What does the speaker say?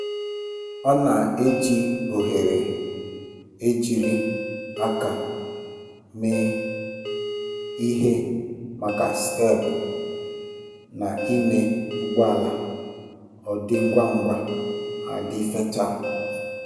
Ọ na-eji oghere ejiri aka mee ihe maka steepụ na ime ụgbọ ala - ọ dị ngwa ngwa ma dị fechaa.